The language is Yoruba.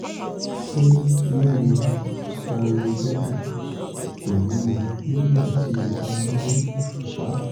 ṣé lílo stamlobeta kò léwu nígbà tí o bá ní ìfúnpá?